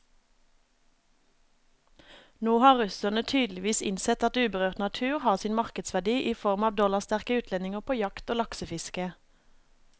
Nå har russerne tydeligvis innsett at uberørt natur har sin markedsverdi i form av dollarsterke utlendinger på jakt og laksefiske.